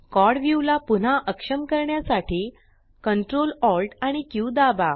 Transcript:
quad view ला पुन्हा अक्षम करण्यासाठी Ctrl Alt आणि क्यू दाबा